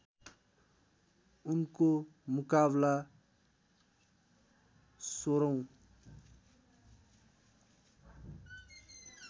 उनको मुकाबला १६ औँ